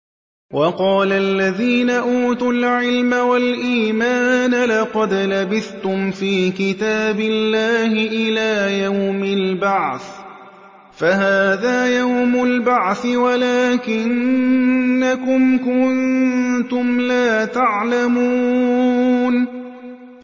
وَقَالَ الَّذِينَ أُوتُوا الْعِلْمَ وَالْإِيمَانَ لَقَدْ لَبِثْتُمْ فِي كِتَابِ اللَّهِ إِلَىٰ يَوْمِ الْبَعْثِ ۖ فَهَٰذَا يَوْمُ الْبَعْثِ وَلَٰكِنَّكُمْ كُنتُمْ لَا تَعْلَمُونَ